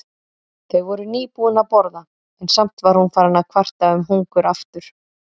Þau voru nýbúin að borða en samt var hún farin að kvarta um hungur aftur.